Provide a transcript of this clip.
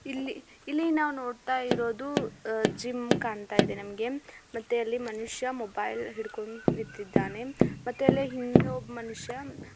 ಇಲ್ಲಿ ನಾವು ನೋಡ್ತಾ ಇರೋದು ಜಿಮ್ ಕಾಣ್ನತ್ತಾ ಇದೆ ನಮಗೆ ಮತ್ತೆ ಅಲ್ಲಿ ಮನುಷ್ಯ ಮೊಬೈಲ್ ಹಿಡ್ಕೊಂಡು ನಿಂತಿದ್ದಾನೆ ಮತ್ತೆ ಅಲಿ ಹಿಂದೆ ಒಬ್ಬ ಮನುಷ್ಯ --